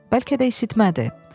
Bəlkə də isitmədi.